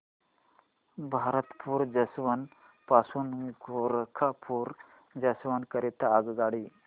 Bharatpur junction पासून Gorakhpur junction करीता आगगाडी